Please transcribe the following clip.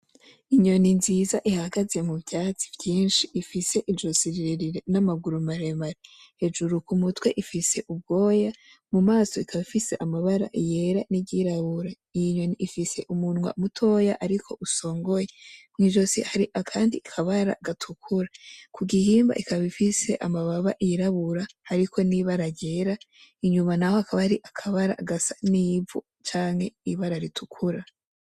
Inyoni nziza ihagaze mu vyatsi vyinshi ifise izosi rirerire; n'amaguru maremare, hejuru ku mutwe ifise ubwoya, mu maso ikaba ifise amabara yera n'iryirabura, iyi nyoni ifise umunwa mutoya ariko usongoye, mwi zosi hari akandi kabara gatukura, ku gihimba ikaba ifise amababa yirabura hariko n'ibara ryera, inyuma naho hakaba hari akabara gasa n'ivu canke ibara ritukura.